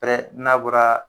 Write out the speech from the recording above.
Hɛrɛ n'a bɔra